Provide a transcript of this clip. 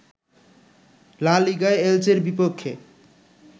লা লিগায় এলচের বিপক্ষে